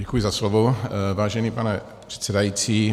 Děkuji za slovo, vážený pane předsedající.